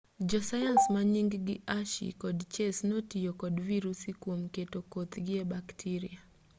josayans manying-gi hershey kod chase notiyo kod virusi kuom keto kothgi e baktiria